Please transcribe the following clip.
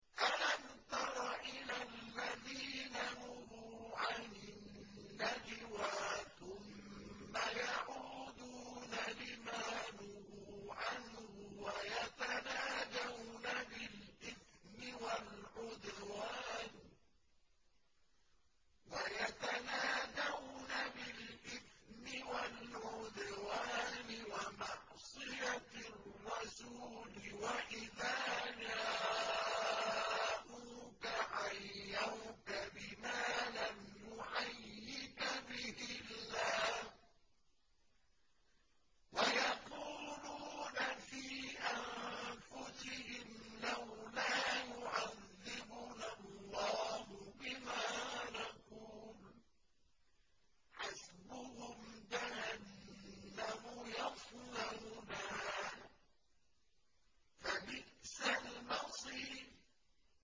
أَلَمْ تَرَ إِلَى الَّذِينَ نُهُوا عَنِ النَّجْوَىٰ ثُمَّ يَعُودُونَ لِمَا نُهُوا عَنْهُ وَيَتَنَاجَوْنَ بِالْإِثْمِ وَالْعُدْوَانِ وَمَعْصِيَتِ الرَّسُولِ وَإِذَا جَاءُوكَ حَيَّوْكَ بِمَا لَمْ يُحَيِّكَ بِهِ اللَّهُ وَيَقُولُونَ فِي أَنفُسِهِمْ لَوْلَا يُعَذِّبُنَا اللَّهُ بِمَا نَقُولُ ۚ حَسْبُهُمْ جَهَنَّمُ يَصْلَوْنَهَا ۖ فَبِئْسَ الْمَصِيرُ